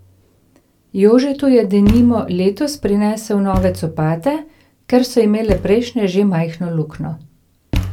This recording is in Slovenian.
Jožetu je denimo letos prinesel nove copate, ker so imele prejšnje že majhno luknjo.